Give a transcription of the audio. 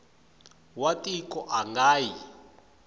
wa tiko a nga yi